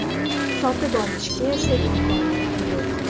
Sotib olishga esa imkoniyati yo‘q.